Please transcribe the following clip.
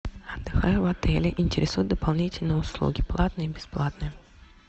отдыхаю в отеле интересуют дополнительные услуги платные и бесплатные